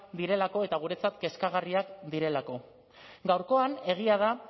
direlako eta guretzat kezkagarriak direlako gaurkoan egia da